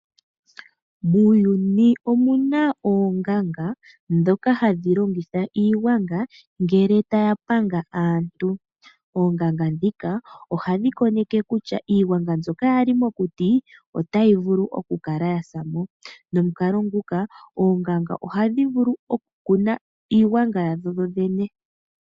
Muuyuni omuna oonganga ndhoka hadhi longitha iigwanga ngele taya panga aantu. Oonganga ndhika ohadhi koneke kutya iigwanga mbyoka yali mokuti otayi vulu oku kala yasa mo, nomukalo nguka oonganga ohadhi vulu okukuna iigwanga yadho dho dhene.